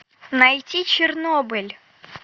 найти чернобыль